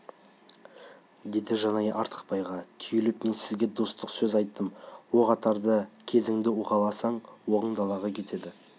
деді жанай артықбайға түйіліп мен сізге достық сөз айттым оқ атарда кезіңді уқаласаң оғың далаға кетеді